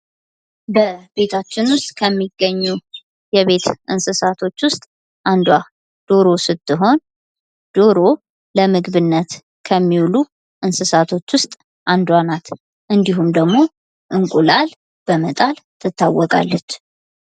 ቤታችን ውስጥ ከሚገኙ የቤት እንስሳቶች ውስጥ አንዷ ዶሮ ስትሆን ዶሮ ለምግብነት ከሚውሉ እንስሳቶች ውስጥ አንዷ ናት። እንዲሁም ደግሞ እንቁላል በመጣል ትታወቃለች።